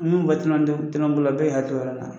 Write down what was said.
Min bɛ tɔnɔbɔla bɛɛ hakili la